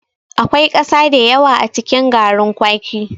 Akwai ƙasa da yawa a cikin garrin kwaki.